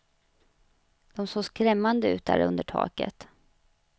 De såg skrämmande ut där under taket.